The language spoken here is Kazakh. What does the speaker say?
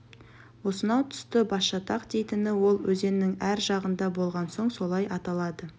осынау тұсты басжатақ дейтіні ол өзеннің әр жағында болған соң солай аталады